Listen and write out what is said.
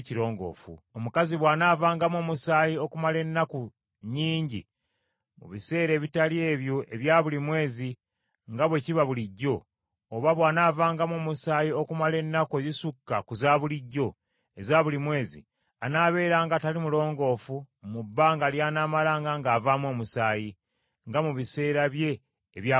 “Omukazi bw’anaavangamu omusaayi okumala ennaku nnyingi mu biseera ebitali ebyo ebya buli mwezi nga bwe kiba bulijjo, oba bw’anaavangamu omusaayi okumala ennaku ezisukka ku za bulijjo eza buli mwezi, anaabeeranga atali mulongoofu mu bbanga ly’anaamalanga ng’avaamu omusaayi, nga mu biseera bye ebya buli mwezi.